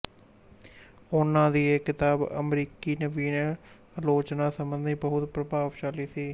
ਉਹਨਾਂ ਦੀ ਇਹ ਕਿਤਾਬ ਅਮਰੀਕੀ ਨਵੀਨ ਆਲੋਚਨਾ ਸੰਬੰਧੀ ਬਹੁਤ ਪ੍ਰਭਾਵਸ਼ਾਲੀ ਸੀ